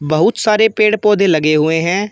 बहुत सारे पेड़ पौधे लगे हुए हैं।